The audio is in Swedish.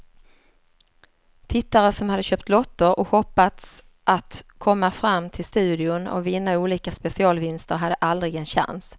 Tittare som hade köpt lotter och hoppats att komma fram till studion och vinna olika specialvinster hade aldrig en chans.